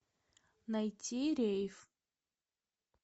найти рейф